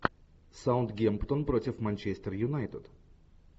саутгемптон против манчестер юнайтед